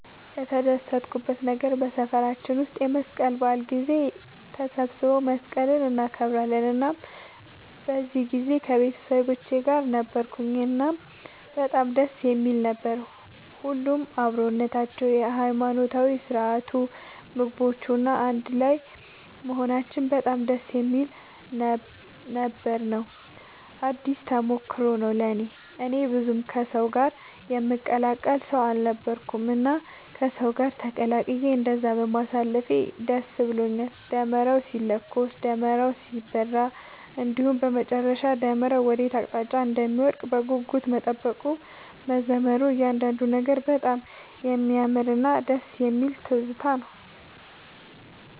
የተደሰትኩበት ነገር በሰፈራችን ውስጥ የመስቀል በዓል ጊዜ ተሰባስበው መስቀልን እናከብራለን እናም በዚህ ጊዜ ከቤተሰቦቼ ጋር ነበርኩኝ እናም በጣም ደስ የሚል ነበር። ሁሉም አብሮነታቸው፣ የሃይማኖታዊ ስርዓቱ፣ ምግቦቹ፣ እና አንድ ላይም መሆናችን በጣም ደስ የሚል ነበር ነው። አዲስ ተሞክሮም ነው ለእኔ። እኔ ብዙም ከሰው ጋር የምቀላቀል ሰው አልነበርኩኝም እና ከሰው ጋር ተቀላቅዬ እንደዛ በማሳለፌ ደስ ብሎኛል። ደመራው ሲለኮስ፣ ደመራው ሲበራ እንዲሁም በመጨረሻ ደመራው ወዴት አቅጣጫ እንደሚወድቅ በጉጉት መጠበቁ፣ መዘመሩ እያንዳንዱ ነገር በጣም የሚያምርና ደስ የሚል ትዝታ ነው።